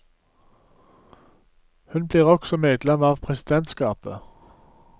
Hun blir også medlem av presidentskapet.